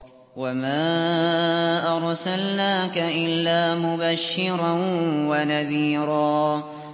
وَمَا أَرْسَلْنَاكَ إِلَّا مُبَشِّرًا وَنَذِيرًا